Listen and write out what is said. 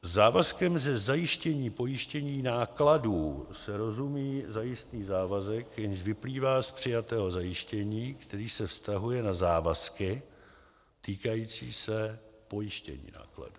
Závazkem ze zajištění pojištění nákladů se rozumí zajistný závazek, jenž vyplývá z přijatého zajištění, který se vztahuje na závazky týkající se pojištění nákladů.